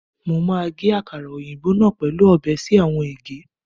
Emi o ge akara oyinbo naa pẹlu ọbẹ si awọn ege